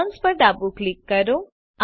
Add onsપર ડાબું click કરો